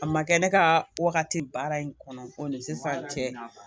A ma kɛ ne ka wagati baara in kɔnɔ ko ni sisan cɛ